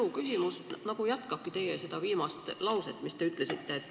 Minu küsimus nagu jätkab teie viimast vastust.